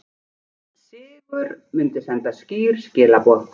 Sigur myndi senda skýr skilaboð